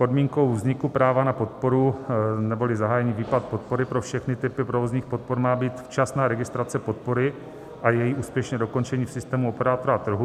Podmínkou vzniku práva na podporu neboli zahájení výplaty podpory pro všechny typy provozních podpor má být včasná registrace podpory a její úspěšné dokončení v systému operátora trhu.